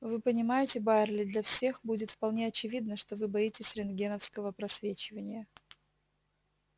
вы понимаете байерли для всех будет вполне очевидно что вы боитесь рентгеновского просвечивания